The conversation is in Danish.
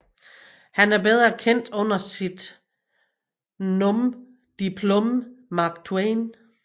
Han er bedre kendt under sit nom de plume Mark Twain